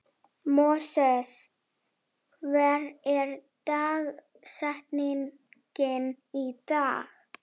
Móses, hver er dagsetningin í dag?